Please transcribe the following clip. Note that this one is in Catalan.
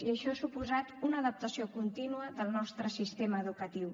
i això ha suposat una adaptació contínua del nostre sistema educatiu